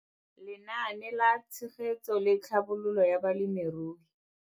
Lenaane la Tshegetso le Tlhabololo ya Balemirui.